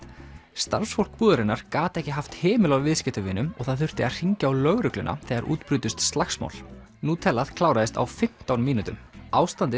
starfsfólk búðarinnar gat ekki haft hemil á viðskiptavinum og það þurfti að hringja á lögregluna þegar út brutust slagsmál kláraðist á fimmtán mínútum ástandið